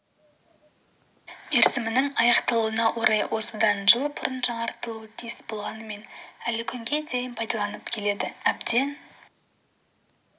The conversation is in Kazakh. мерзімінің аяқталуына орай осыдан жыл бұрын жаңартылуы тиіс болғанымен әлі күнге дейін пайдаланылып келеді әбден